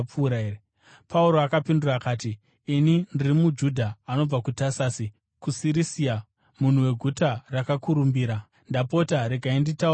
Pauro akapindura akati, “Ini ndiri muJudha anobva kuTasasi kuSirisia, munhu weguta rakakurumbira. Ndapota regai nditaure kuvanhu.”